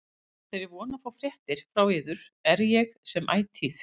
Með þeirri von að fá fréttir frá yður er ég sem ætíð